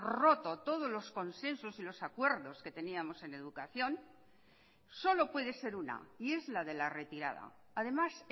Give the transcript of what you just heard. roto todos los consensos y los acuerdos que teníamos en educación solo puede ser una y es la de la retirada además